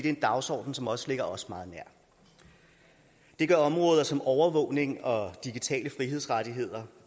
er en dagsorden som også ligger os meget nær det gør områder som overvågning og digitale frihedsrettigheder